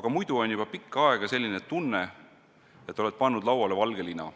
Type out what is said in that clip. "Aga muidu on juba pikka aega selline tunne, et oled pannud lauale valge lina.